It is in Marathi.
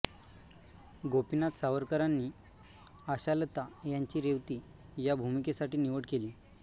गोपीनाथ सावकारांनी आशालता यांची रेवती या भूमिकेसाठी निवड केली